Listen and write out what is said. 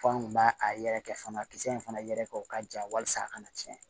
F'an kun b'a a yɛrɛkɛ fanga kisɛ in fana yɛrɛ kɛ o ka ja walasa a kana cɛn